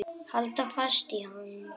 Halda fast í hann!